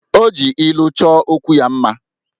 O ji ilu choo okwu ya mma